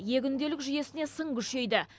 е күнделік жүйесіне сын күшейді